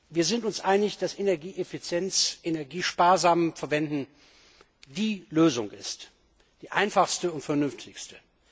Wir sind uns einig, dass Energieeffizienz, Energie sparsam zu verwenden, die Lösung ist, die einfachste und vernünftigste.